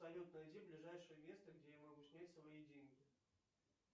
салют найди ближайшее место где я могу снять свои деньги